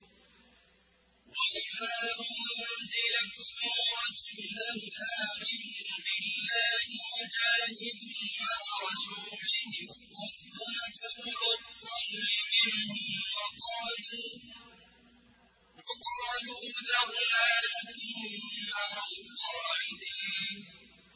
وَإِذَا أُنزِلَتْ سُورَةٌ أَنْ آمِنُوا بِاللَّهِ وَجَاهِدُوا مَعَ رَسُولِهِ اسْتَأْذَنَكَ أُولُو الطَّوْلِ مِنْهُمْ وَقَالُوا ذَرْنَا نَكُن مَّعَ الْقَاعِدِينَ